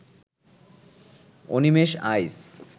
Animesh Aich